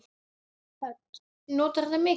Hödd: Notarðu það mikið?